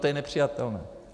To je nepřijatelné.